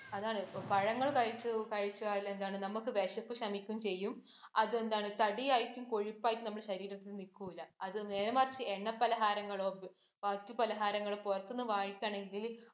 അതാണ്. പഴങ്ങൾ കഴിച്ചാൽ എന്താണ് നമുക്ക് വിശപ്പ് ശമിക്കുകയും, അത് എന്താണ് തടിയായിട്ടും, കൊഴുപ്പായിട്ടും നമ്മുടെ ശരീരത്തിൽ നിക്കൂം ഇല്ല. അത് നേരെ മറിച്ച് എണ്ണ പലഹാരങ്ങളോ, മറ്റു പലഹാരങ്ങളോ പുറത്തൂന്ന് വാങ്ങിക്കുകയാണെങ്കിൽ